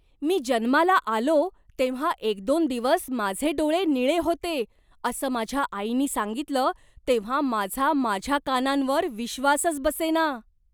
मी जन्माला आलो तेव्हा एक दोन दिवस माझे डोळे निळे होते असं माझ्या आईनी सांगितलं तेव्हा माझा माझ्या कानांवर विश्वासच बसेना.